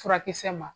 Furakisɛ ma